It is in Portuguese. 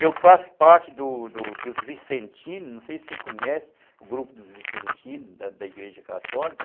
Eu faço parte dos dos dos Vicentinos, não sei se você conhece o grupo dos Vicentinos, da da Igreja Católica.